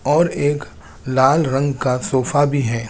और एक लाल रंग का सोफा भी है।